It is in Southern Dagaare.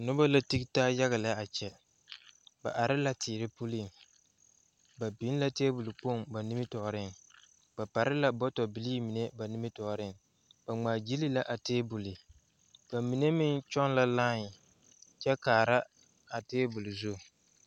Noba la tige taa yaga lɛ ba are la teɛ puliŋ ba biŋ la tebol koŋ ba nimitɔɔreŋ ba pare la bɔɔtol bilii mine ba nimitɔɔre ba ŋmaa gyili la a tebol ba mine meŋ kyɔŋ la lae kyɛ kaara a tebol zu.